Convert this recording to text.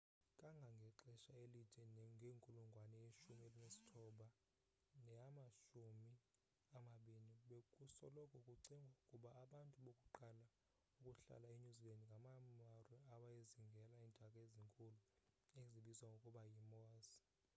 kangangexesha elide ngenkulungwane yeshumi elinesithoba neyamashumi amabini bekusoloko kucingwa ukuba abantu bokuqala ukuhlala enew zealand ngamamaori awayezingela iintaka ezinkulu ezibizwa ngokuba yi-moas